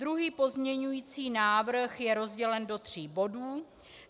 Druhý pozměňující návrh je rozdělen do tří bodů.